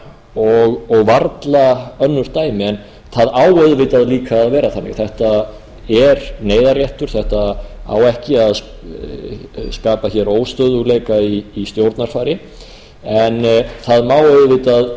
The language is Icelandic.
og varla önnur dæmi en það á auðvitað líka að vera þannig þetta er neyðarréttur þetta á ekki að skapa hér óstöðugleika í stjórnarfari en það má auðvitað